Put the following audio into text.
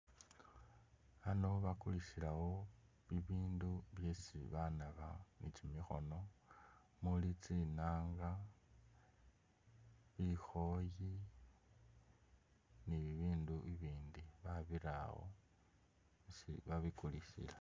Ano bakulisilawo bibindu byesi banaba ni kimikhono muuli tsinaanga, bikhooyi, ni bibindu bibindi babirawo isi babikulisila.